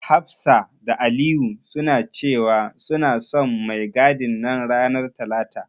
Hafsa da Aliyu suna cewa, suna son mai gadin nan ranar talata.